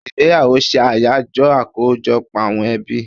Igbeyawo se Ayajo akojọpọ àwọn ebi